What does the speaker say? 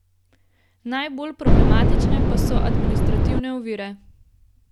Najbolj problematične pa so administrativne ovire.